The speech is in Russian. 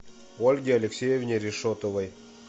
ольге алексеевне решетовой